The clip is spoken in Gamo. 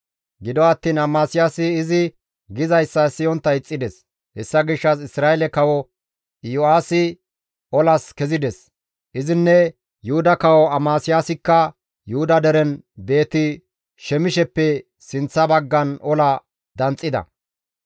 Gido attiin Amasiyaasi izi gizayssa siyontta ixxides; hessa gishshas Isra7eele kawo Yo7aasi olas kezides; izinne Yuhuda kawo Amasiyaasikka Yuhuda deren Beeti-Shemisheppe sinththa baggan ola danxxida.